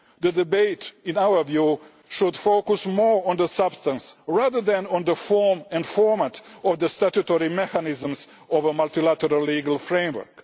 The debate, in our view, should focus more on the substance rather than on the form and format of the statutory mechanisms of a multilateral legal framework.